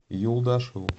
юлдашеву